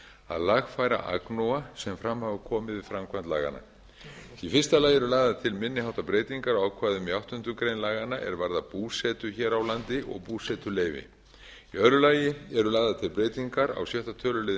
að lagfæra agnúa sem fram hafa komið við framkvæmd laganna í fyrsta lagi eru lagðar til minni háttar breytingar á ákvæðum í áttundu grein laganna er varða búsetu hér á landi og búsetuleyfi í öðru lagi eru lagðar til breytingar á sjötta tölulið